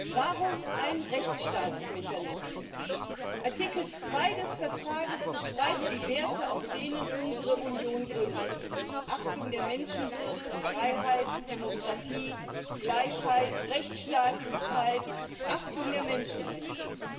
Herr Präsident! Warum ein Rechtsstaatsmechanismus? Artikel 2 des Vertrags beschreibt die Werte, auf denen unsere Union gründet Achtung der Menschenwürde, Freiheit, Demokratie, Gleichheit, Rechtsstaatlichkeit, Achtung der Menschenrechte.